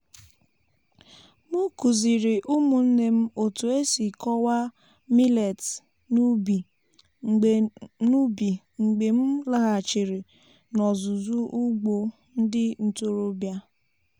m kụziri ụmụnne m otu esi kọwaa millets n’ubi mgbe n’ubi mgbe m laghachiri n'ọzụzụ ugbo ndị ntorobịa.